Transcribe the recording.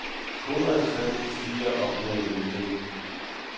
Korets sang stiger op mod himlen.